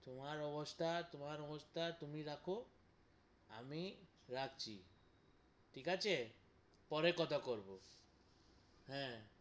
তোমার অবস্থা, তোমার অবস্থা তুমি রাখো আমি রাখছি, ঠিক আছে, পরে কথা করবো হ্যাঁ।